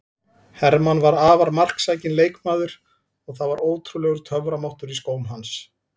Hermann var afar marksækinn leikmaður og það var ótrúlegur töframáttur í skóm hans.